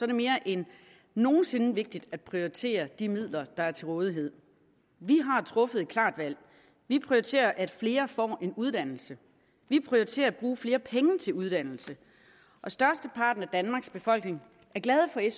det mere end nogen sinde vigtigt at prioritere de midler der er til rådighed vi har truffet et klart valg vi prioriterer at flere får en uddannelse vi prioriterer at bruge flere penge til uddannelse og størsteparten af danmarks befolkning er glade